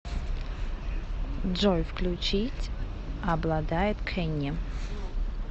джой включить обладает кенни